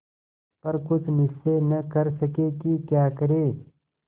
पर कुछ निश्चय न कर सके कि क्या करें